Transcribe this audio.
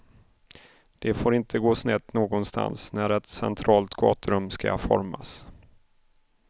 Det får inte gå snett någonstans när ett centralt gaturum ska formas.